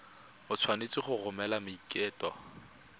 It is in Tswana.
o tshwanetse go romela maiteko